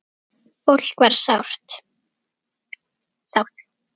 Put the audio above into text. Fólk var sátt.